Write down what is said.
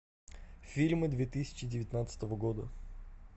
фильмы две тысячи девятнадцатого года